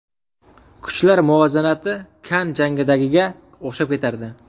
Kuchlar muvozanati Kann jangidagiga o‘xshab ketardi.